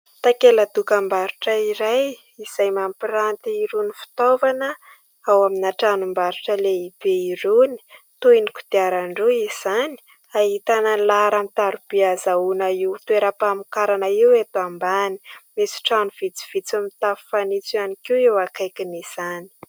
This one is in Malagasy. Takela-dokam-barotra iray izay mampiranty irony fitaovana ao amin'ny tranom-barotra lehibe irony toy ny kodiaran-droa izany, ahitana ny laharan-tarobia hahazoana io toeram-pamokarana io; eto ambany misy trano vitsivitsy mitafo fanitso ihany koa eo akaikin'izany.